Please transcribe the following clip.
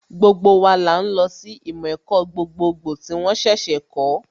Gbogbo wa là ń lọ sí ìmọ̀ ẹ̀kọ́ gbogbogbò tí wón ṣẹ̀ṣẹ̀ kọ̀ọ́